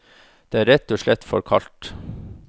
Den er rett og slett for kald.